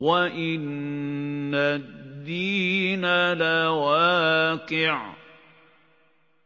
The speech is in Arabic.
وَإِنَّ الدِّينَ لَوَاقِعٌ